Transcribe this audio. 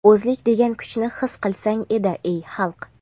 O‘zlik degan kuchni his qilsang.edi ey xalq.